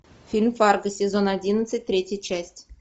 фильм фарго сезон одиннадцать третья часть